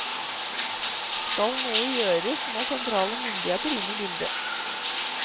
Skal noe gjøres, må sentrale myndigheter inn i bildet.